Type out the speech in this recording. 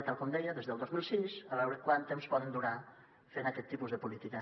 tal com deia des del dos mil sis a veure quant temps poden durar fent aquest tipus de política